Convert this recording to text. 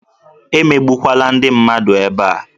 E megbukwana ndị mmadụ ebea